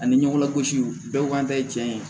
Ani ɲɔgɔn lagosi bɛɛ k'an ta ye tiɲɛ ye